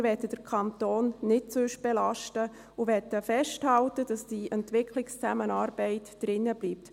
Und wir möchten den Kanton nicht sonst belasten und wollen daran festhalten, dass die Entwicklungszusammenarbeit drinbleibt.